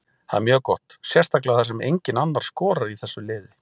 Það er mjög gott sérstaklega þar sem enginn annar skorar í þessu liði.